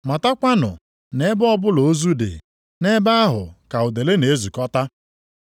Matakwanụ na ebe ọbụla ozu dị, nʼebe ahụ ka udele na-ezukọta.